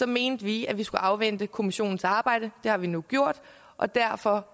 mente vi at vi skulle afvente kommissionens arbejde det har vi nu gjort og derfor